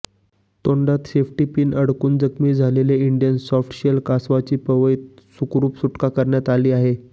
तोंडात safety pin अडकून जखमी झालेल्या इंडियन सॉफ्टशेल कासवाची पवईत सुखरुप सुटका करण्यात आली आहे